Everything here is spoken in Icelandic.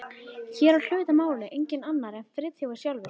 Hér á hlut að máli enginn annar en Friðþjófur sjálfur